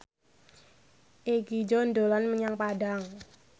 Egi John dolan menyang Padang